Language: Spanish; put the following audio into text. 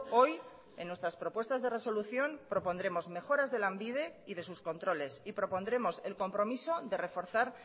hoy en nuestras propuestas de resolución propondremos mejoras de lanbidey de sus controles y propondremos el compromiso de reforzar